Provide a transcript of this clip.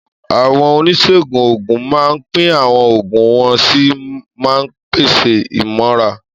Àwọn oníṣègùn òògùn máa ń pín àwọn oògùn wọ́n sì máa ń pèsè ìmọ̀ràn.